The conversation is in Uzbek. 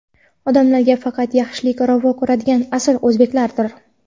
odamlarga faqat yaxshilik ravo ko‘radigan asl o‘zbeklardir.